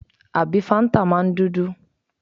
Àbí fáńtà máa ń dúdú?